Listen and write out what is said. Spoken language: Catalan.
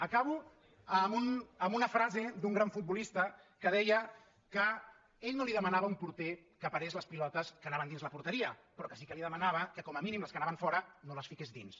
acabo amb una frase d’un gran futbolista que deia que ell no li demanava a un porter que parés les pilo·tes que anaven dins la porteria però que sí que li de·manava que com a mínim les que anaven fora no les fiqués dins